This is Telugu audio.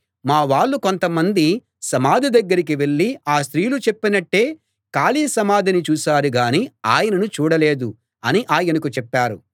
మా వాళ్ళు కొంతమంది సమాధి దగ్గరికి వెళ్ళి ఆ స్త్రీలు చెప్పినట్టే ఖాళీ సమాధిని చూశారు గానీ ఆయనను చూడలేదు అని ఆయనకు చెప్పారు